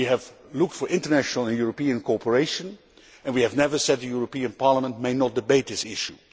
We have looked for international and European cooperation and we have never said the European Parliament may not debate this issue.